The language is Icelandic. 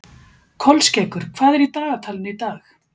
Kolskeggur, hvað er í dagatalinu í dag?